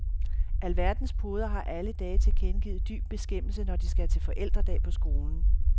Alverdens poder har alle dage tilkendegivet dyb beskæmmelse, når de skal til forældredag på skolen.